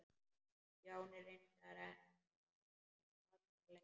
Stjáni reyndi nú aðra leið.